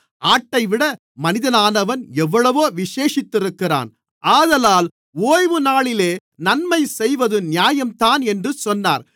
ஆட்டைவிட மனிதனானவன் எவ்வளவோ விசேஷித்திருக்கிறான் ஆதலால் ஓய்வுநாளிலே நன்மை செய்வது நியாயம்தான் என்று சொன்னார்